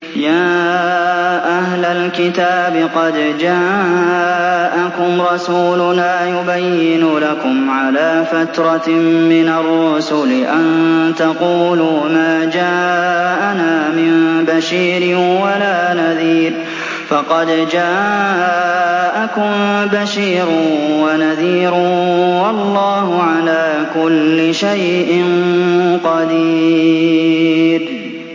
يَا أَهْلَ الْكِتَابِ قَدْ جَاءَكُمْ رَسُولُنَا يُبَيِّنُ لَكُمْ عَلَىٰ فَتْرَةٍ مِّنَ الرُّسُلِ أَن تَقُولُوا مَا جَاءَنَا مِن بَشِيرٍ وَلَا نَذِيرٍ ۖ فَقَدْ جَاءَكُم بَشِيرٌ وَنَذِيرٌ ۗ وَاللَّهُ عَلَىٰ كُلِّ شَيْءٍ قَدِيرٌ